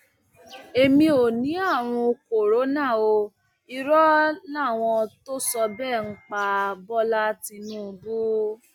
èmi ò ní àrùn corona o irọ làwọn tó sọ bẹẹ ń pa bọlá tìǹbù